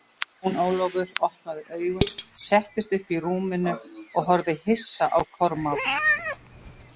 Jón Ólafur opnaði augun, settist upp í rúminu og horfði hissa á Kormák.